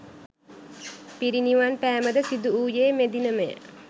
පිරිනිවන් පෑමද සිදුවූයේ මෙදිනම ය.